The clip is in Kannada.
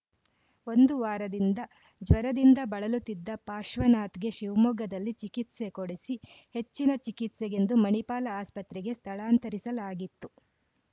ಒಂದು ವಾರದಿಂದ ಜ್ವರದಿಂದ ಬಳಲುತ್ತಿದ್ದ ಪಾಶ್ವನಾಥ್‌ಗೆ ಶಿವಮೊಗ್ಗದಲ್ಲಿ ಚಿಕಿತ್ಸೆ ಕೊಡಿಸಿ ಹೆಚ್ಚಿನ ಚಿಕಿತ್ಸೆಗೆಂದು ಮಣಿಪಾಲ ಆಸ್ಪತ್ರೆಗೆ ಸ್ಥಳಾಂತರಿಸಲಾಗಿತ್ತು